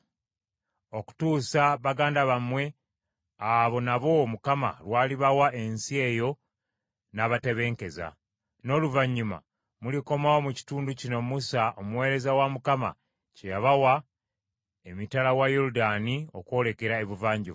okutuusa baganda bammwe abo nabo Mukama lw’alibawa ensi eyo n’abatebenkeza. N’oluvannyuma mulikomawo mu kitundu kino Musa omuweereza wa Mukama kye yabawa emitala wa Yoludaani okwolekera ebuvanjuba.”